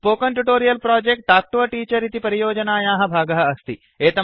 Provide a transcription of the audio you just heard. spoken tutorial project talk to a teacher इति परियोजनायाः भागः अस्ति